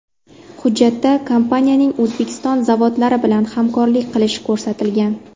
Hujjatda kompaniyaning O‘zbekiston zavodlari bilan hamkorlik qilishi ko‘rsatilgan.